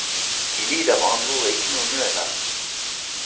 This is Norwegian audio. Vi lider med andre ord ikke noen nød her.